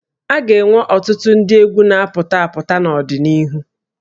A ga-enwe ọtụtụ ndị egwú na-apụta apụta n'ọdịnihu